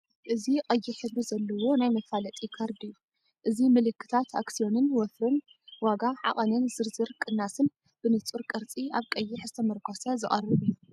እዚ ቀይሕ ሕብሪ ዘለዎ ናይ መፋለጢ ካርድ እዩ። እዚ ምልክታታት ኣክስዮንን ወፍርን፡ ዋጋ፡ ዓቐንን ዝርዝር ቅናስን ብንጹር ቅርጺ፡ ኣብ ቀይሕ ዝተመርኮሰ ዝቐርብ እዩ።